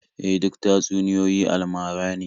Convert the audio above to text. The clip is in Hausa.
E, duk tatsuniyoyi almara ne.